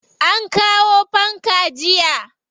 An kawo fanka jiya.